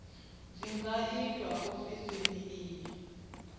dzi nga itwa ofisini i